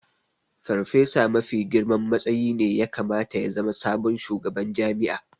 Farfesa mafi girman matsayi ne ya kamata ya zama sabon shugaban jami'a